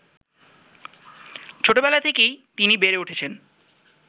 ছোটবেলা থেকেই তিনি বেড়ে উঠেছেন